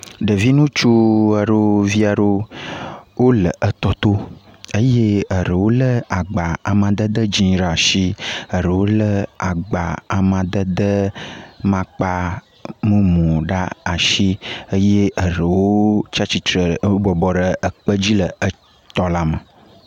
Ɖevi ŋutsu aɖewo vi aɖewo le totɔ eye ɖewo lé agba amadede dzɛ̃ ɖe asi eye ɖewo lé agba amadede mumu ɖe asi eye eɖewo tsi atsitre bɔbɔ ɖe ekpe dzi le tɔ la me.